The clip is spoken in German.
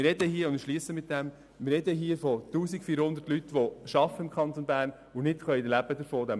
Wir sprechen hier von 1400 Menschen in diesem Kanton, die arbeiten und von ihrem Lohn nicht leben können.